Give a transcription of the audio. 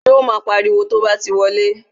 Yo mo pariwo to bá ti wọlé